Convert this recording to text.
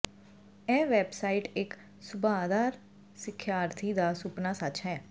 ਇਹ ਵੈਬਸਾਈਟ ਇੱਕ ਸੁਭਾਅਦਾਰ ਸਿਖਿਆਰਥੀ ਦਾ ਸੁਪਨਾ ਸੱਚ ਹੈ